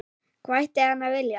Hvað ætti hann að vilja?